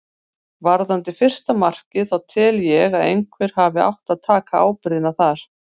Varðandi fyrsta markið þá tel ég að einhver hafi átt að taka ábyrgðina þar.